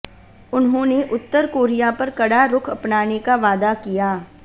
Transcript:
उन्होंने उत्तर कोरिया पर कड़ा रुख अपनाने का वादा किया